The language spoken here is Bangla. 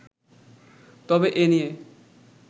তবে এ নিয়ে